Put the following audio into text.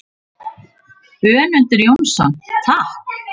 Önundur Jónsson: Takk.